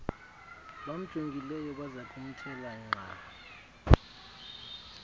bamjongileyo bazakumthela nkqa